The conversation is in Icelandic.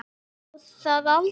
Sá það aldrei